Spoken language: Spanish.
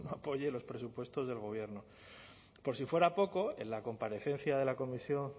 apoye los presupuestos del gobierno por si fuera poco en la comparecencia de la comisión